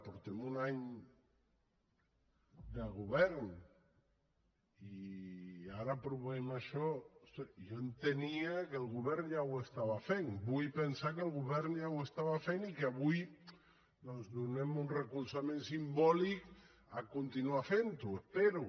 portem un any de govern i ara aprovem això ostres jo entenia que el govern ja ho estava fent vull pensar que el govern ja ho estava fent i que avui doncs donem un recolzament simbòlic a continuar fent ho espero